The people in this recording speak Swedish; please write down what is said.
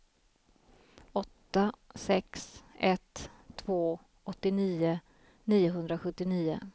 åtta sex ett två åttionio niohundrasjuttionio